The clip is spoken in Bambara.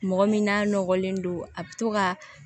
Mɔgɔ min n'a nɔgɔlen don a bɛ to ka